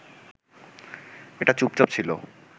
এটা চুপচাপ ছিল